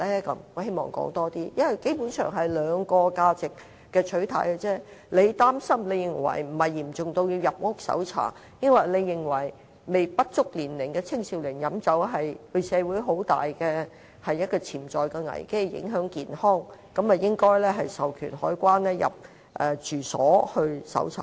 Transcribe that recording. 因為基本上只是兩個價值的取態，有人認為並非嚴重至要入屋搜查；也有人認為讓未成年的青少年飲酒會對社會造成很大的潛在危機，也會影響健康，應授權海關人員入住所進行搜查。